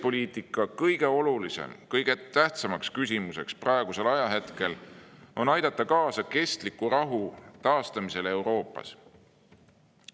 Eesti välispoliitika kõige tähtsam küsimus on praegu see, kuidas me saame aidata kaasa kestliku rahu taastamisele Euroopas.